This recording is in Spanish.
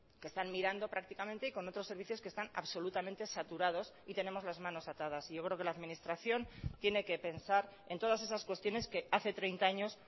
que están mirando prácticamente y con otros servicios que están absolutamente saturados y tenemos las manos atadas y yo creo que la administración tiene que pensar en todas esas cuestiones que hace treinta años